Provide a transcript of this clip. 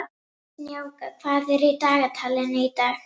Snjáka, hvað er í dagatalinu í dag?